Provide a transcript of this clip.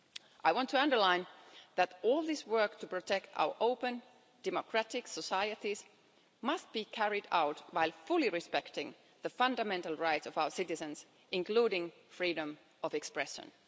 I want to underline that all this work to protect our open, democratic societies must be carried out while fully respecting the fundamental rights of our citizens, including freedom of expression.